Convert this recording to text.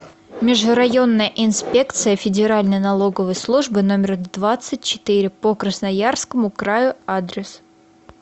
межрайонная инспекция федеральной налоговой службы номер двадцать четыре по красноярскому краю адрес